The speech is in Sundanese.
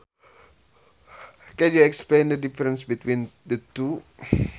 Can you explain the difference between the two